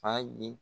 Fa ye